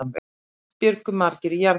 Fyrst bjuggu margir í jarðhýsum.